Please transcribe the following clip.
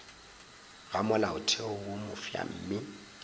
ga molaotheo wo mofsa mme